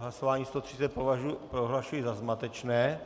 Hlasování 130 prohlašuji za zmatečné